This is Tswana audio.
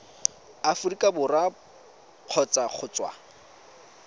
aforika borwa kgotsa go tswa